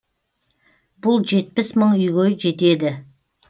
бұл жетпіс мың үйге жетеді